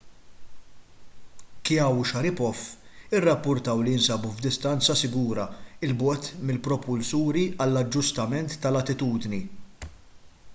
chiao u sharipov irrappurtaw li jinsabu f'distanza sigura l bogħod mill-propulsuri għall-aġġustament tal-attitudni